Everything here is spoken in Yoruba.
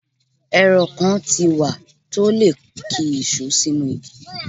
Èrọ kan ti wá tó lè ki ìṣó sínú igi.